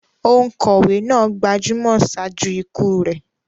Òǹkọ̀wé náà gbajúmọ̀ ṣáájú ikú rẹ̀.